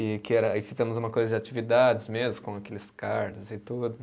E que era, e fizemos uma coisa de atividades mesmo, com aqueles cards e tudo.